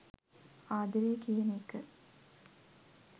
ආදරේ කියන එක